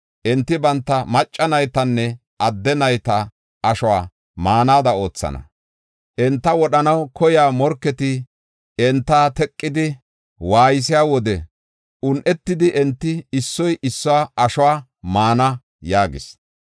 Enti banta macca naytanne adde nayta ashuwa maanada oothana. Enta wodhanaw koyiya morketi enta teqidi waaysiya wode un7etidi enti issoy issuwa ashuwa maana” yaagis.